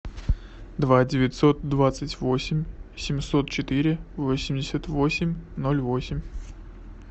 два девятьсот двадцать восемь семьсот четыре восемьдесят восемь ноль восемь